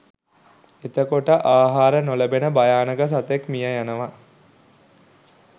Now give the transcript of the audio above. එතකොට ආහාර නොලැබෙන භයානක සතෙක් මිය යනවා